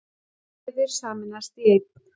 Vefir sameinast í einn